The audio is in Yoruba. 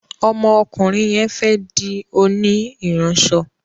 ómó okurin yén fé di oni iranso